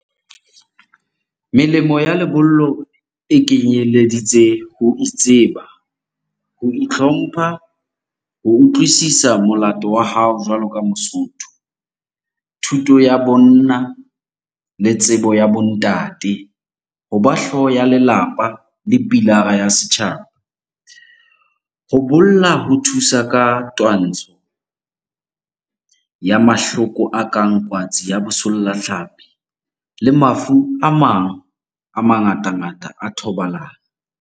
Melemo ya lebollo e kenyeleditse ho itseba, ho itlhompha, ho utlwisisa molato wa hao jwalo ka mosotho. Thuto ya bonna le tsebo ya bo ntate, hoba hlooho ya lelapa le pilara ya setjhaba. Ho bolla ho thusa ka twantsho ya mahloko a kang kwatsi ya bosolla tlhapi le mafu a mang a mangatangata a thobalano.